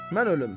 Mən ölüm.